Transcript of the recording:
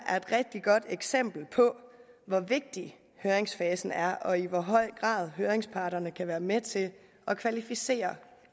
er et rigtig godt eksempel på hvor vigtig høringsfasen er og i hvor høj grad høringsparterne kan være med til at kvalificere